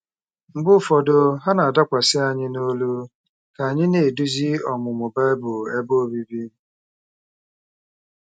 Mgbe ụfọdụ, ha na-adakwasị anyị n’olu ka anyị na-eduzi ọmụmụ Bible ebe obibi.